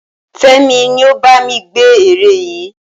Fémi ni ó bá mi gbẹ́ ère yìí